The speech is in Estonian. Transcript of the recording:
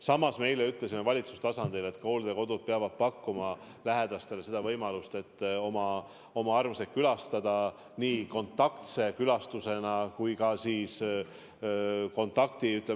Samas me eile ütlesime valitsuse tasandil, et hooldekodud peavad pakkuma lähedastele võimalust oma armsaid külastada nii kontaktse külastusena kui ka kontaktivabalt.